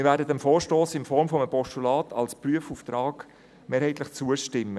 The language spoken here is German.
Wir werden dem Vorstoss in Form eines Postulats als Prüfauftrag trotzdem mehrheitlich zustimmen.